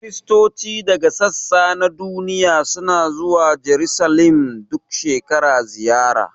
Kiristoci daga sassa na duniya suna zuwa Jarusalim duk shekara ziyara